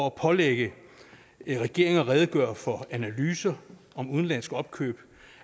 at pålægge regeringen at redegøre for analyser af udenlandske opkøb